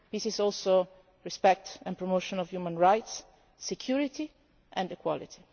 the absence of war peace is also respect and the promotion of human rights, security